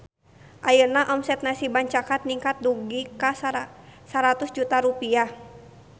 Ayeuna omset Nasi Bancakan ningkat dugi ka 100 juta rupiah